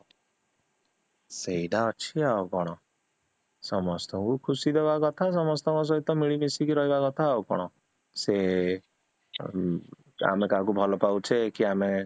ସେଇଟା ଅଛି ଆଉ କଣ, ସମସ୍ତଙ୍କୁ ଖୁସି ଦବା କଥା ସମସ୍ତଙ୍କ ସହିତ ମିଳି ମିଶିକି ରହିବା କଥା ଆଉ କଣ ସେ ଆମେ କାହାକୁ ଭଲ ପାଉଛେ କି ଆମେ